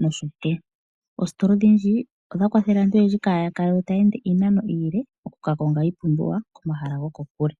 nosho tuu. Oostola odhindji odha kwathele aantu oyendji kaa ya kale taa ende iinano iile okukakonga iipumbiwa komahala gokokule.